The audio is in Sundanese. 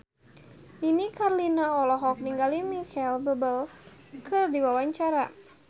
Nini Carlina olohok ningali Micheal Bubble keur diwawancara